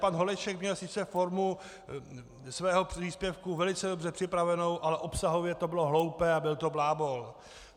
Pan Holeček měl sice formu svého příspěvku velice dobře připravenou, ale obsahově to bylo hloupé a byl to blábol.